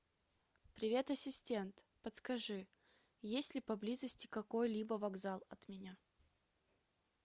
привет ассистент подскажи есть ли поблизости какой либо вокзал от меня